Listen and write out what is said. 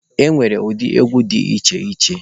E nwere ụdị egwu dị iche iche.